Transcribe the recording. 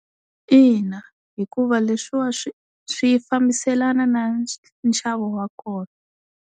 Ina hikuva leswiwa swi swi fambiselana na nxavo wa kona.